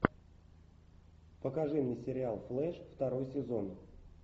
покажи мне сериал флеш второй сезон